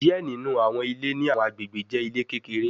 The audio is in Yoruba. Diẹ ninu awọn ile ni awọn agbegbe jẹ ile kekere